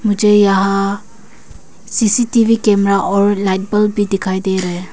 मुझे यहां CCTV camera और लाइट बल्ब भी दिखाई दे रहे है।